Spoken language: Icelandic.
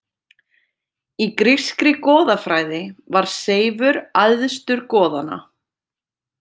Í grískri goðafræði var Seifur æðstur goðanna.